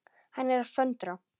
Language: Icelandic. Hann er að föndra.